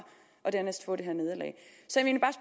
og dernæst få det her nederlag så